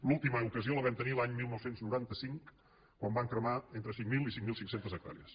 l’última ocasió la vam tenir l’any dinou noranta cinc quan van cremar entre cinc mil i cinc mil cinc cents hectàrees